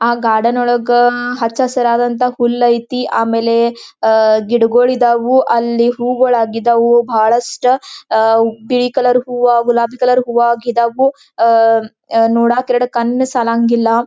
ಆ ಗಾರ್ಡನ್ ಒಳಗ್ ಹಚ್ಚ ಹಸಿರಾದಂತಹ ಹುಲ್ಲು ಐತಿ. ಆಮೇಲೆ ಅಹ್ ಗಿಡಗಳು ಇದವು ಅಲ್ಲಿ ಹೂವುಗಳು ಆಗಿದ್ದವು ಬಹಳಷ್ಟ ಅಹ್ ಬಿಳಿ ಕಲರ್ ಹೂವಾ ಗುಲಾಬಿ ಕಲರ್ ಹೂವಾ ಆಗಿದವು ಅಹ್ ನೋಡಕ್ಕ ಎರಡು ಕಣ್ಣು ಸಾಲಂಗಿಲ್ಲಾ.